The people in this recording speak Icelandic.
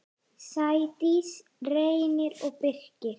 Sædís, Reynir og Birkir.